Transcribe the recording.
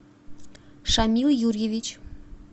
шамил юрьевич